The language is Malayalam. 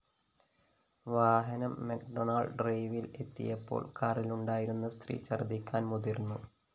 വാഹനം മക്ഡൊണാള്‍ഡ് ഡ്രൈവില്‍ എത്തിയപ്പോള്‍ കാറിലുണ്ടായിരുന്ന സ്ത്രീ ഛർദ്ദിക്കാൻ മുതിർന്നു